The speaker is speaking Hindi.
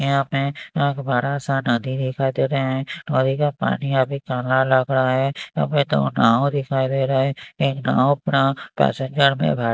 यहाँ पे एक बड़ा सा नदी दिखाई दे रहे हैं और एक पानी यहाँ पे काला लग रहा हैं अभी तो नाव दिखाई दे रहा हैं एक नाव पे पैसेंजर में बै--